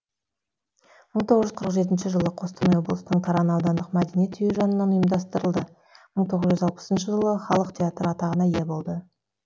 мың тоғыз жүз қырық жетінші жылы қостанай облысының таран аудандық мәдениет үйі жанынан ұйымдастырылды мың тоғыз жүз алпысыншы жылы халық театры атағына ие болды